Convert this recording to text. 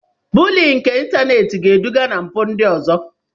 Bulii nke ịntanetị ga-eduga na mpụ ndị ọzọ.